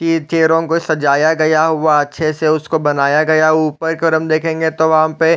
ये चेयरो को सजाया गया हुआ है अच्छे से उसको बनाया गया हुआ ऊपर के और देखेंगे तो वहाँ पे --